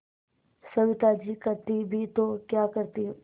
सविता जी करती भी तो क्या करती